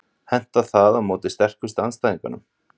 Hentar það á móti sterkustu andstæðingunum?